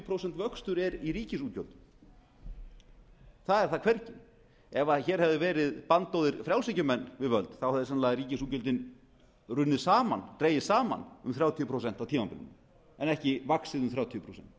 prósent vöxtur er í ríkisútgjöldum það er það hvergi ef hér hefðu verið bandóðir frjálshyggjumenn við völd þá hefðu sennilega ríkisútgjöldin runnið saman dregist saman um þrjátíu prósent á tímabilinu en ekki vaxið um þrjátíu